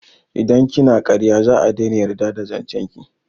Idan kina karya za'a daina yarda da zancen ki